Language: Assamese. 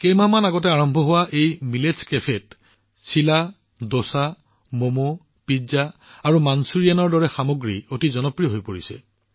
কেইমাহমান আগতে আৰম্ভ হোৱা এই মিলেটচ কেফেত চিলা দোচা মোমো পিজ্জা আৰু মাঞ্চুৰিয়ানৰ দৰে খাদ্যসামগ্ৰী অতি জনপ্ৰিয় হৈ পৰিছে